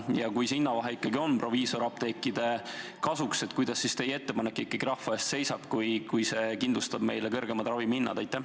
Ja kui see hinnavahe ikkagi on proviisoriapteekide kasuks, kuidas siis teie eelnõu ikkagi rahva eest seisab, kui see kindlustab kõrgemad ravimihinnad?